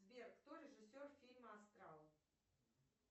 сбер кто режиссер фильма астрал